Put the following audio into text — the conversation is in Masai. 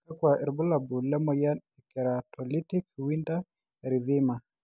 kakua irbulabol le moyian e Keratolytic winter erythema?